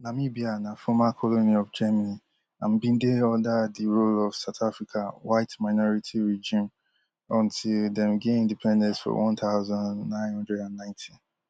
namibia na former colony of germany and bin dey under di rule of south africa whiteminority regime until dem gain independence for one thousand, nine hundred and ninety